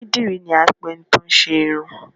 Onídìrí ni à n pẹ ẹni tí óún ṣe irun